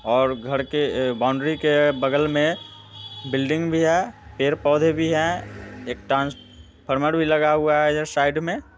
और घर के अ बाउंड्री के बगल में बिल्डिंग भी है पेड़-पौधे भी हैं एक ट्रांसफार्मर भी लगा हुआ है इधर साइड मे।